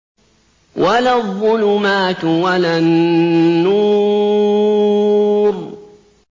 وَلَا الظُّلُمَاتُ وَلَا النُّورُ